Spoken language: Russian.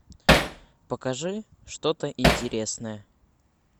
покажи что то интересное